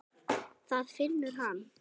Það finnur hann.